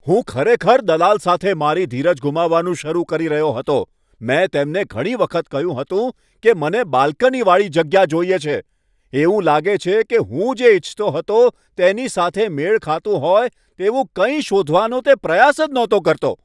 હું ખરેખર દલાલ સાથે મારી ધીરજ ગુમાવવાનું શરૂ કરી રહ્યો હતો. મેં તેમને ઘણી વખત કહ્યું હતું કે મને બાલ્કનીવાળી જગ્યા જોઈએ છે. એવું લાગે છે કે હું જે ઇચ્છતો હતો તેની સાથે મેળ ખાતું હોય તેવું કંઈ શોધવાનો તે પ્રયાસ જ નહોતો કરતો.